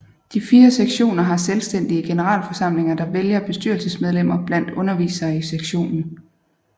De fire sektioner har selvstændige generalforsamlinger der vælger bestyrelsesmedlemmer blandt undervisere i sektionen